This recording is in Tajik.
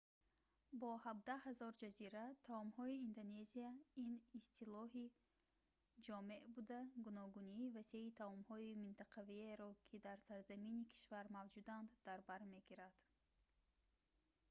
бо 17 000 ҷазира таомҳои индонезия ин истилоҳи ҷомеъ буда гуногунии васеи таомҳои минтақавиеро ки дар сарзамини кишвар мавҷуданд дар бар мегирад